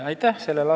Aitäh!